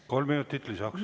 Kolm minutit lisaks.